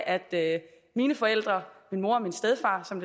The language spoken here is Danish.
at mine forældre min mor og min stedfar som